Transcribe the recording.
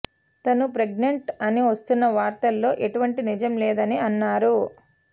తను ప్రెగ్నెంట్ అని వస్తున్న వార్తల్లో ఎటువంటి నిజం లేదని అన్నారు